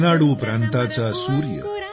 रेनाडू प्रांताचा सूर्य